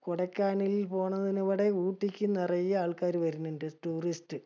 കൊടകനാലിൽ പോണതിനു ഇബടെ ഊട്ടിക്ക് നറയെ ആൾക്കാര് വര്ണിണ്ട് tourist.